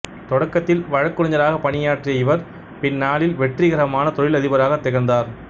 தொடக்கத்தில் வழக்குரைஞராகப் பணியாற்றிய இவர் பின்னாளில் வெற்றிகரமான தொழில் அதிபராக திகழ்ந்தார்